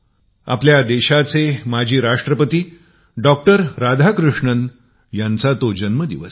आपल्या देशाचे भूतपूर्व राष्ट्रपती डॉ राधाकृष्णनजींचा जन्म दिवस आहे